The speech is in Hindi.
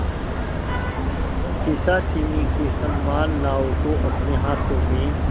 पिशाचिनी के समान नाव को अपने हाथों में